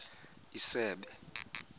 isebe